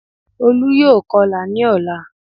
Olú yóò kọ́lá ní ọ̀la